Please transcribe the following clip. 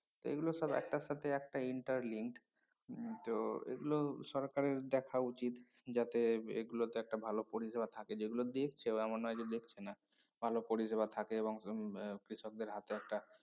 এইগুলো সব একটার সাথে একটা interlinked উম তো এগুলো সরকারের দেখা উচিত যাতে এর এগুলোতে একটা ভালো পরিসেবা থাকে যেগুলো দিচ্ছে বা এমন নয় যে দিচ্ছে না ভালো পরিসেবা থাকে এবং হম কৃষকদের হাতে একটা